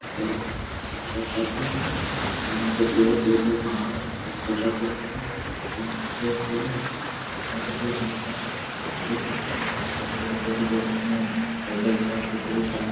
चाय है चाय का कप है और यहाँ पर बहुत दूर मे पहाड़ है एक छोटा-सा घर है एक ताड़ का पेड़ सब है ताड़ का पेड़ बहुत सारा है बड़े - बड़े पेड़ जो आते हैं जंगल झाड़ बहुत सारा है।